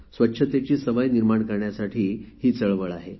स्वच्छतेची सवय निर्माण करण्यासाठी ही चळवळ आहे